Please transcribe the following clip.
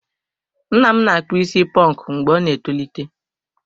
Nna m na-akpụ isi ponku mgbe ọ ná-etolite.